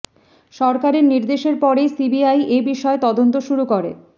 সরকারের নির্দেশের পরেই সি বি আই এই বিষয়ে তদন্ত শুরু করে